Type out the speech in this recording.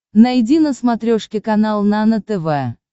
найди на смотрешке канал нано тв